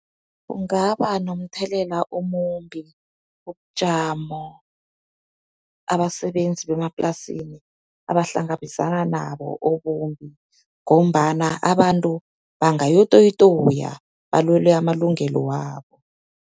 Kungaba nomthelela omumbi ubujamo abasebenzi bemaplasini abahlangabezana nabo, obumbi. Ngombana abantu bangayokutoyitoya, balwele amalungelo wabo.